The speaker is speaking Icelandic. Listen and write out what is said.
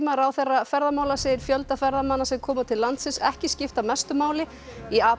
ráðherra ferðamála segir fjölda ferðamanna sem koma til landsins ekki skipta mestu máli í apríl